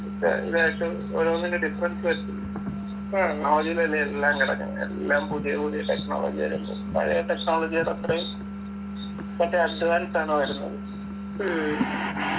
ലേശം ഓരോന്നിൻ്റെ difference വരുത്തും ആദ്യം തന്നെ എല്ലാം കണക്കെന്നെ എല്ലാം പുതിയ പുതിയ technology വരുന്നു പഴയ technology ടെ അത്രേം മറ്റേ advance ആണ് വരുന്നത്